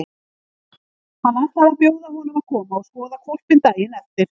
Hann ætlaði að bjóða honum að koma og skoða hvolpinn daginn eftir.